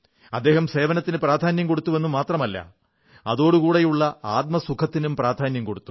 അദ്ദേഹം സേവനത്തിനു പ്രാധാന്യം കൊടുത്തു എന്നു മാത്രമല്ല അതോടുകൂടെയുള്ള ആത്മസുഖത്തിനും പ്രധാന്യം കൊടുത്തു